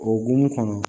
Okumu kɔnɔ